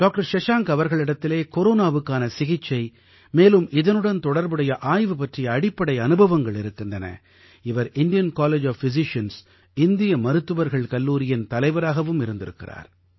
doctor Shashank அவர்களிடத்திலே கொரோனாவுக்கான சிகிச்சை மேலும் இதனுடன் தொடர்புடைய ஆய்வு பற்றிய அடிப்படை அனுபவங்கள் இருக்கின்றன இவர் இந்தியன் காலேஜ் ஒஃப் பிசிசியன்ஸ் இந்திய மருத்துவர்கள் கல்லூரியின் தலைவராகவும் இருந்திருக்கிறார்